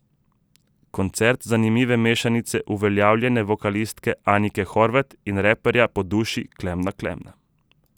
Koncert zanimive mešanice uveljavljene vokalistke Anike Horvat in raperja po duši Klemna Klemna.